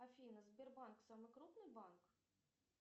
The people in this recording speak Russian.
афина сбербанк самый крупный банк